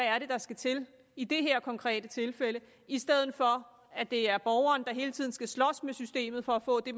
er der skal til i det her konkrete tilfælde i stedet for at det er borgeren der hele tiden skal slås med systemet for at få det